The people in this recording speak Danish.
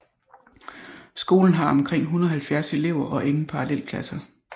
Skolen har omkring 170 elever og ingen parallelklasser